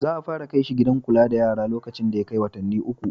Za a fara kai shi gidan kula da yara lokacin da ya kai watanni uku.